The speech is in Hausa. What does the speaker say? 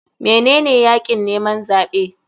Menene yakin neman zaɓe?